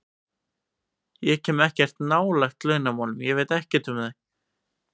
Ég kem ekkert nálægt launamálum og veit ekkert um þau.